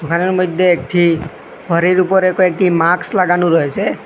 ঘরের মদ্যে একটি ঘরের উপরে কয়েকটি মাক্স লাগানো রয়েসে